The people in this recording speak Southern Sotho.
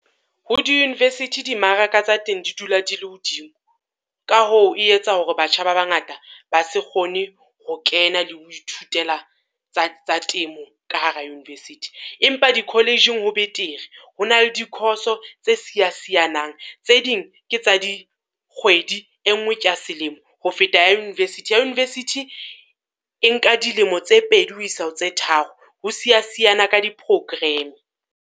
Ho di-university di mmaraka tsa teng di dula di le hodimo. Ka hoo e etsa hore batjha ba bangata ba se kgone ho kena le ho ithutela tsa tsa temo ka hara university. Empa di-college-ing ho betere, ho na le di-course-o tse siya siyanang. Tse ding ke tsa dikgwedi e ngwe ke ya selemo. Ho feta ya university ya university e nka dilemo tse pedi ho isa ho tse tharo, ho siya siyana ka di-program.